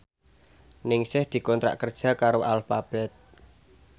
Ningsih dikontrak kerja karo Alphabet